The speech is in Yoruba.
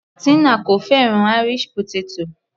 Tina kò fẹ́ràn Irish potato.